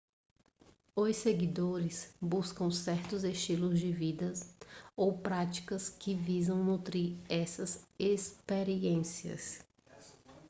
os seguidores buscam certos estilos de vida ou práticas que visam nutrir essas experiências